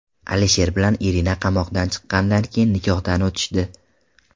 Alisher bilan Irina qamoqdan chiqqandan keyin nikohdan o‘tishdi.